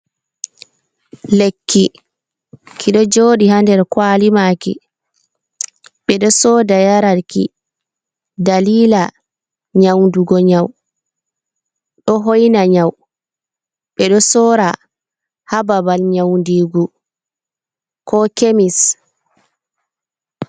Lekki ki ɗo jooɗi ha nder kwali maaki, ɓe ɗo sooda yara ki dalila nyaudugo nyau, ɗo hoina nyau, ɓe ɗo sora ha babal nyaudiigu ko kemis.